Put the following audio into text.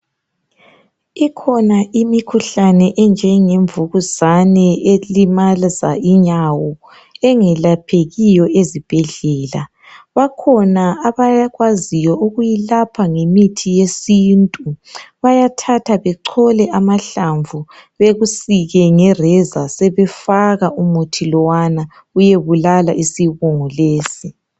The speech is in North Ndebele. Ikhona imikhuhlane enjengemvukuzane, elimaza inyawo. Engelaphekiyo ezibhedlela. Bakhona abakwaziiyo ukuyilapha ngemithi yesintu. Bayathatha bechole amahlamvu. Bekusike ngereza, sebefaka umuth lowana uyebulala isibungu lesi.